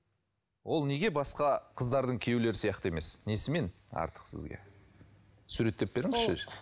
ол неге басқа қыздардың күйеулері сияқты емес несімен артық сізге суреттеп беріңізші